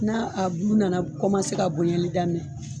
N'a a bulu nana ka bonyali daminɛ